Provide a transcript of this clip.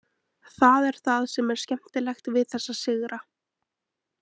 Það er það sem er skemmtilegt við þessa sigra.